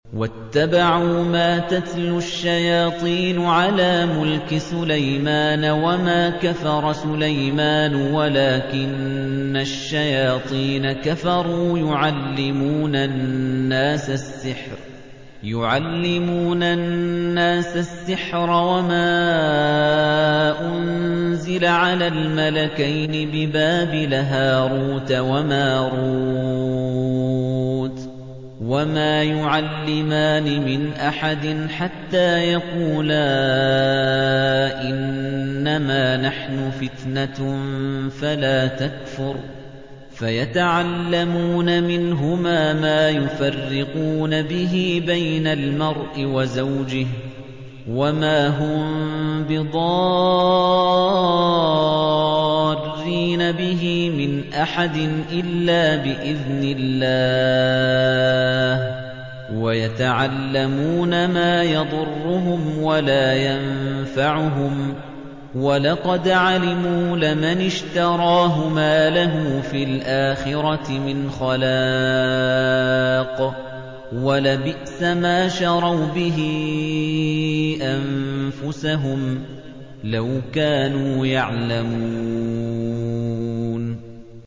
وَاتَّبَعُوا مَا تَتْلُو الشَّيَاطِينُ عَلَىٰ مُلْكِ سُلَيْمَانَ ۖ وَمَا كَفَرَ سُلَيْمَانُ وَلَٰكِنَّ الشَّيَاطِينَ كَفَرُوا يُعَلِّمُونَ النَّاسَ السِّحْرَ وَمَا أُنزِلَ عَلَى الْمَلَكَيْنِ بِبَابِلَ هَارُوتَ وَمَارُوتَ ۚ وَمَا يُعَلِّمَانِ مِنْ أَحَدٍ حَتَّىٰ يَقُولَا إِنَّمَا نَحْنُ فِتْنَةٌ فَلَا تَكْفُرْ ۖ فَيَتَعَلَّمُونَ مِنْهُمَا مَا يُفَرِّقُونَ بِهِ بَيْنَ الْمَرْءِ وَزَوْجِهِ ۚ وَمَا هُم بِضَارِّينَ بِهِ مِنْ أَحَدٍ إِلَّا بِإِذْنِ اللَّهِ ۚ وَيَتَعَلَّمُونَ مَا يَضُرُّهُمْ وَلَا يَنفَعُهُمْ ۚ وَلَقَدْ عَلِمُوا لَمَنِ اشْتَرَاهُ مَا لَهُ فِي الْآخِرَةِ مِنْ خَلَاقٍ ۚ وَلَبِئْسَ مَا شَرَوْا بِهِ أَنفُسَهُمْ ۚ لَوْ كَانُوا يَعْلَمُونَ